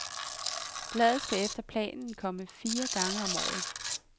Bladet skal efter planen komme fire gange om året.